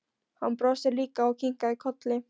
Hann brosti líka og kinkaði kolli.